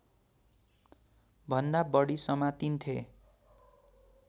भन्दा बढी समातिन्थे